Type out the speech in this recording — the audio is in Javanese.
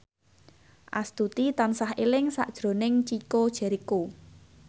Astuti tansah eling sakjroning Chico Jericho